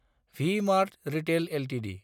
V-Mart retail Ltd